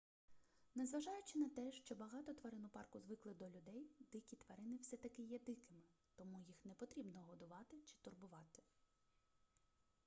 незважаючи на те що багато тварин у парку звикли до людей дикі тварини все таки є дикими тому їх не потрібно годувати чи турбувати